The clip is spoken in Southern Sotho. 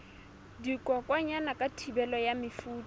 dikokwanyana ka thibelo ya mefuta